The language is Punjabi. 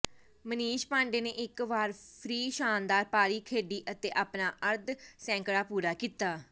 ਮਨੀਸ਼ ਪਾਂਡੇ ਨੇ ਇਕ ਵਾਰ ਫ੍ਰਿ ਸ਼ਾਨਦਾਰ ਪਾਰੀ ਖੇਡੀ ਅਤੇ ਆਪਣਾ ਅਰਧ ਸੈਂਕੜਾ ਪੂਰਾ ਕੀਤਾ